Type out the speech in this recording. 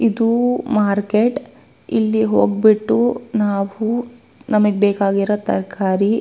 ಇದು ಮಾರ್ಕೆಟ್ ಇಲ್ಲಿ ಒಂಬತ್ತು ಇಲ್ ಅಂದ್ರೆ ನಮಗೆ ಬೇಕಾದ ತರ್ಕಾರಿ--